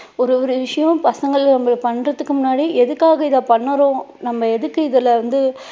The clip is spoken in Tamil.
ஒரு ஒரு விஷயம் பசங்க அவங்க பண்றதுக்கு முன்னாடி எதுக்காக இதை பண்ணுறோம் நம்ம எதுக்கு இதுல வந்து